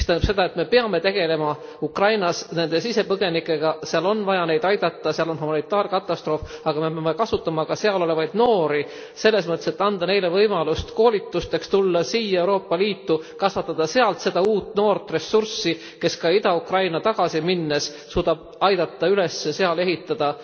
Mis tähendab seda, et me peame tegelema Ukrainas nende sisepõgenikega, seal on vaja neid aidata, seal on humanitaarkatastroof! Aga me peame kasutama ka sealolevaid noori, selles mõttes, et andma neile võimaluse koolitusteks, tulla siia Euroopa Liitu, kasvatama sealt seda uut noort ressurssi, kes ka Ida Ukrainasse tagasi minnes suudab aidata seal üles ehitada